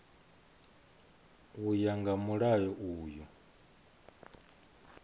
u ya nga mulayo uyu